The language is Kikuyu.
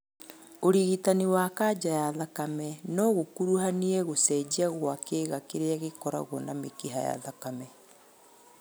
ũrigitani wa kanja ya thakame nogũkuruhanie gũcenjia kwa kĩga kĩrĩa gĩkoragwo na mĩkiha ya thakame